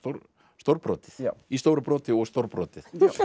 stórbrotið í stóru broti og stórbrotið